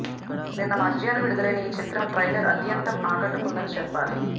నిన్న మధ్యాహ్నం విడుదలైన ఈ చిత్రం ట్రైలర్ ఆద్యంతం ఆకట్టుకుందని చెప్పాలి